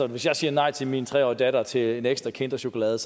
hvis jeg siger nej til min tre årige datter til en ekstra kinderchokolade